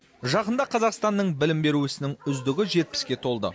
жақында қазақстанның білім беру ісінің үздігі жетпіске толды